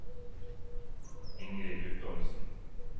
Ingrid Guttormsen